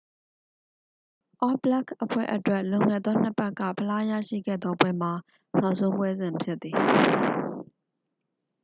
အောဘလက်ခ်အဖွဲ့အတွက် လွန်ခဲ့သော နှစ်ပတ်က ဖလားရရှိခဲ့သောပွဲမှာ နောက်ဆုံးပွဲစဉ်ဖြစ်သည်